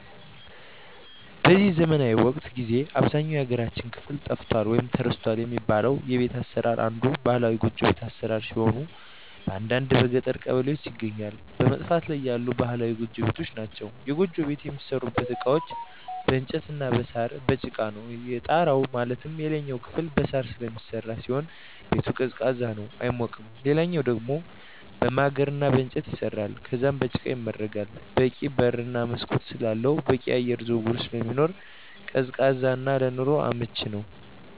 በዚህ ዘመናዊ ወቅት ጊዜ በአብዛኛው የሀገራችን ክፍል ጠፍቷል ወይም ተረስቷል የሚባለው የቤት አሰራር አንዱ ባህላዊ ጎጆ ቤት አሰራር ሲሆን በአንዳንድ የገጠር ቀበሌዎች ይገኛሉ በመጥፋት ላይ ያሉ ባህላዊ ጎጆ ቤቶች ናቸዉ። የጎጆ ቤት የሚሠሩበት እቃዎች በእንጨት እና በሳር፣ በጭቃ ነው። የጣራው ማለትም የላይኛው ክፍል በሳር ስለሚሰራ ሲሆን ቤቱ ቀዝቃዛ ነው አይሞቅም ሌላኛው ደሞ በማገር እና በእንጨት ይሰራል ከዛም በጭቃ ይመረጋል በቂ በር እና መስኮት ስላለው በቂ የአየር ዝውውር ስለሚኖር ቀዝቃዛ እና ለኑሮ አመቺ ነው።